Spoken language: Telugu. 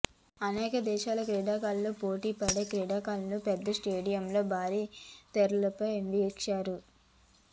అనేక దేశాల క్రీడాకారులు పోటీ పడే ఈ క్రీడలను పెద్ద స్టేడియాల్లో భారీ తెరలపై వీక్షిస్తారు